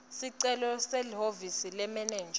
sicelo kulelihhovisi lemenenja